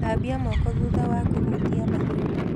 Thambia moko thutha wa kũhutia mahiũ